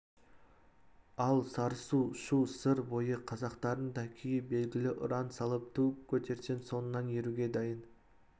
ал сарысу шу сыр бойы қазақтарының да күйі белгілі ұран салып ту көтерсең соңыңнан еруге дайын